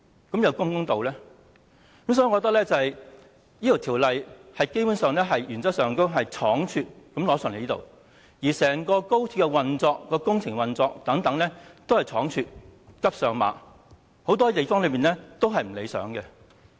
所以，我認為《條例草案》基本上是倉卒地提交立法會的，而整個高鐵的工程、運作等亦十分倉卒，"急上馬"，有很多地方不理想。